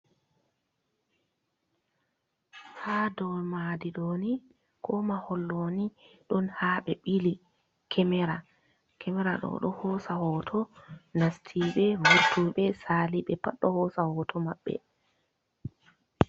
Ha dou maadi ɗo ni, ko mahol ɗoni, ɗon ha ɓe ɓili kemera. Kemera ɗo ɗo hosa hoto nastiɓe, vartuɓe, saali ɓe pat ɗo hoosa hoto maɓɓe.